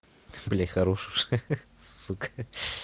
блять хорош уже ха-ха сука